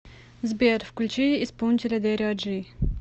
сбер включи исполнителя дэрио джи